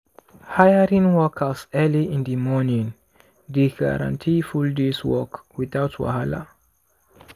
hiring workers early in di morning dey guarantee full day’s work without wahala.